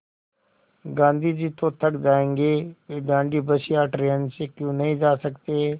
गाँधी जी तो थक जायेंगे वे दाँडी बस या ट्रेन से क्यों नहीं जा सकते